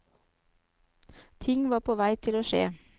Ting var på vei til å skje.